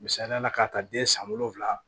Misaliyala k'a ta den san wolonwula